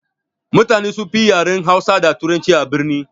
Mutane sunfi yin yaren hausa da turanci a birni.